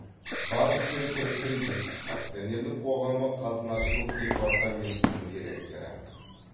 банк центр кредит акционерлік қоғамы қазынашылық департаментінің директоры